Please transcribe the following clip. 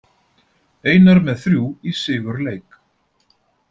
Einar með þrjú í sigurleik